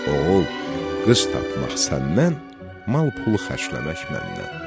Oğul, qız tapmaq səndən, mal-pulu xərcləmək məndən.